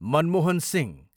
Manmohan Singh